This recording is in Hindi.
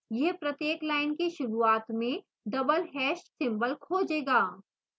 यह प्रत्येक line की शुरूआत में double hash #symbol खोजेगा